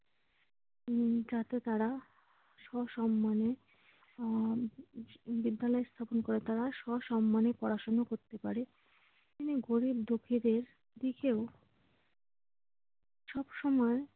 এবং যাতে তারা সসম্মানে আহ বিদ্যালয়ে তারা সসম্মানে পড়াশোনা করতে পারে। গরিব-দুঃখীদের দিকেও সবসময়